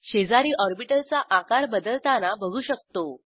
शेजारी ऑर्बिटल चा आकार बदलताना बघू शकतो